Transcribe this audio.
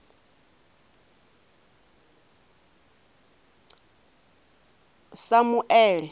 samuele